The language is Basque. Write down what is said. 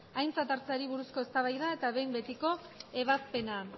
aintzat hartzeari buruzko eztabaida eta behin betiko ebazpena